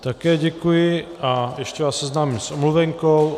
Také děkuji a ještě vás seznámím s omluvenkou.